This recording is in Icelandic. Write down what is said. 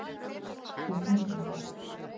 Þetta snýst um það.